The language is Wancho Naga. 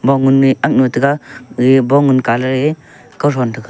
bong gun ne aknu tega gege bong gun kalar ye kauthon thega.